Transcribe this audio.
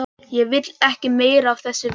Ég vil ekkert meira af þessu vita.